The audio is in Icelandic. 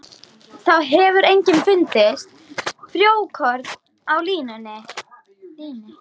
Þá hefur einnig fundist frjókorn af líni.